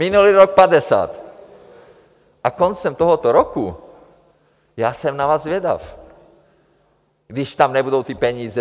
Minulý rok 50 a koncem tohoto roku, já jsem na vás zvědav, když tam nebudou ty peníze.